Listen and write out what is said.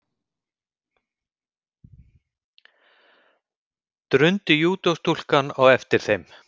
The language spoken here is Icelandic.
drundi júdóstúlkan á eftir þeim.